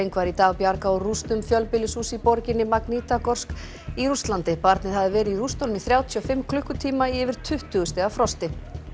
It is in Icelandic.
var í dag bjargað úr rústum fjölbýlishúss í borginni í Rússlandi barnið hafði verið í rústunum í þrjátíu og fimm klukkutíma í yfir tuttugu stiga frosti